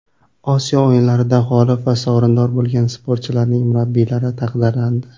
Osiyo o‘yinlarida g‘olib va sovrindor bo‘lgan sportchilarning murabbiylari taqdirlandi.